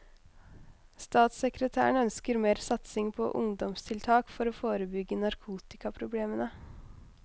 Statssekretæren ønsker mer satsing på ungdomstiltak for å forebygge narkotikaproblemene.